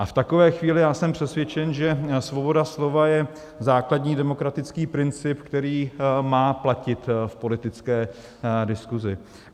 A v takové chvíli já jsem přesvědčen, že svoboda slova je základní demokratický princip, který má platit v politické diskusi.